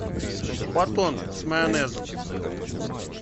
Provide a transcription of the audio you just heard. батон с майонезом